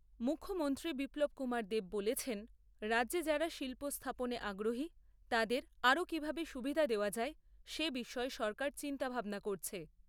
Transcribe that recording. মুখ্যমন্ত্রী বিপ্লব কুমার দেব বলেছেন, রাজ্যে যারা শিল্প স্থাপনে আগ্রহী তাদের আরও কিভাবে সুবিধা দেওয়া যায় সে বিষয়ে সরকার চিন্তাভাবনা করছে।